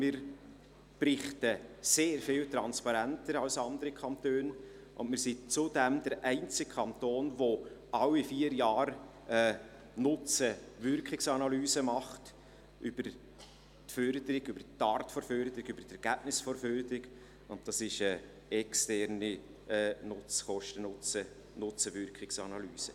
Wir berichten sehr viel transparenter als andere Kantone, und wir sind zudem der einzige Kanton, der alle vier Jahre NutzenWirkungs-Analysen über die Förderung, über die Art der Förderung, über das Ergebnis der Förderung macht, und das ist eine externe Kosten-Nutzen-Wirkungsanalyse.